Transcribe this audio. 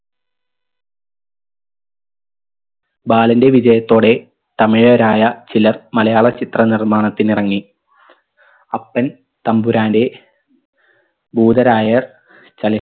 ബാലൻറെ വിജയത്തോടെ തമിഴരായ ചിലർ മലയാള ചിത്ര നിർമ്മാണത്തിനിറങ്ങി അപ്പൻ തമ്പുരാൻറെ ഭൂതരായർ ചല